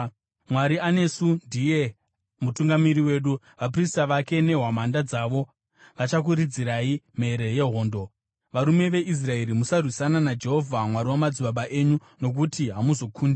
Mwari anesu; ndiye mutungamiri wedu. Vaprista vake nehwamanda dzavo vachakuridzirai mhere yehondo. Varume veIsraeri, musarwisana naJehovha, Mwari wamadzibaba enyu, nokuti hamuzokundi.”